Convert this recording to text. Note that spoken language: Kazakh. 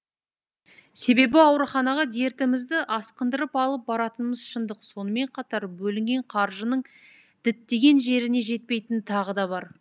себебі ауруханаға дертімізді асқындырып алып баратынымыз шындық сонымен қатар бөлінген қаржының діттеген жеріне жетпейтіні тағы да бар